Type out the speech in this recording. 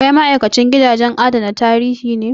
Kai ma'aikacin gidajen adana tarihi ne?